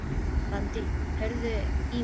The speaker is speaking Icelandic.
Randí, heyrðu í mér eftir tólf mínútur.